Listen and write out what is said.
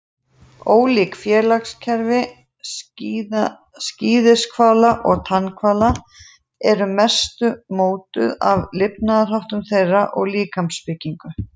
Ólík félagskerfi skíðishvala og tannhvala eru að mestu mótuð af lifnaðarháttum þeirra og líkamsbyggingu.